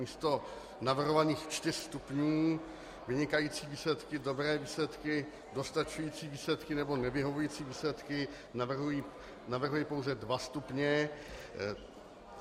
Místo navrhovaných čtyř stupňů - vynikající výsledky, dobré výsledky, dostačující výsledky nebo nevyhovující výsledky - navrhuji pouze dva stupně.